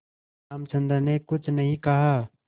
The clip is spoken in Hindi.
रामचंद्र ने कुछ नहीं कहा